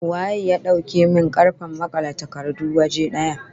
Waye ya dauke min karfen makale takardu waje daya?